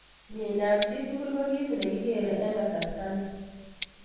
Minyeindo ab chitugul kokit nekiker eng kasarta ni.